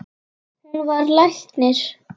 Hann varð læknir.